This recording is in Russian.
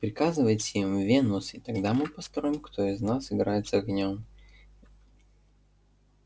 приказывайте им вы венус и тогда мы посмотрим кто из нас играет с огнём